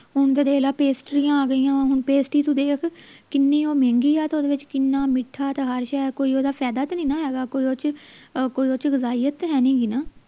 ਹੁਣ ਤਾਂ ਦੇਖ ਲੈ ਪੇਸਟਰੀਆਂ ਆ ਗਈਆਂ ਹੁਣ ਪੇਸਟੀ ਤੂੰ ਦੇਖ ਕਿੰਨੀ ਉਹ ਮਹਿੰਗੀ ਆ ਤੇ ਓਹਦੇ ਵਿਚ ਕਿੰਨਾ ਮਿੱਠਾ ਤੇ ਹਰ ਸ਼ੈ ਕੋਈ ਓਹਦਾ ਫਾਇਦਾ ਤੇ ਨੀ ਨਾ ਹੈ ਗਾ ਕੋਈ ਉਹ ਚ ਕੋਈ ਉਹ ਚ ਤਾਂ ਹੈ ਨਹੀਂ ਗੀ ਨਾ